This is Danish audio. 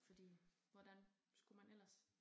Fordi hvordan skulle man ellers